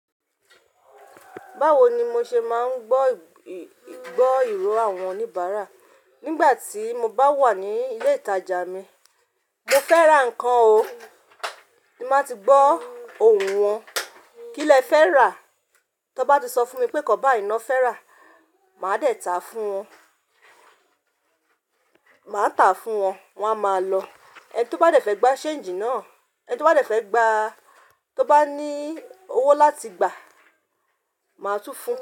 Báwo ni mo ṣe máa ń gbọ́ ìró àwọn oníbàárà nígbà tí mo bá wà ní ilé ìtajà mi? Mo fẹ́ ra nkàn o, n ba ti gbọ́ ohùn yẹn. Kí lẹ fẹ́ rà? Tán bá ti sọ fún mi pé nkan bá i ná fẹ́ rà, ma dẹ ta màá ta fún wọn, wọ́n a máa lọ. Ẹni tó bá dẹ fẹ́ gba ṣéńjì náà, tó bá ní owó láti gbà á, màá tún fún un.